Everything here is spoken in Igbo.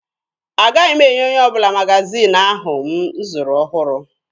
Agaghị m enye onye ọbụla magaziini ahụ m zụrụ ọhụrụ.